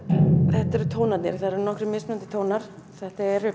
þetta eru tónarnir það eru nokkrir mismunandi tónar þetta eru